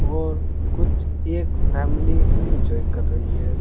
और कुछ एक फैमिली इसमें इंजॉय कर रही है।